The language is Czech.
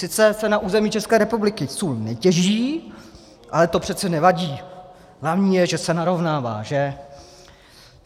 Sice se na území České republiky sůl netěží, ale to přece nevadí, hlavní je, že se narovnává, že?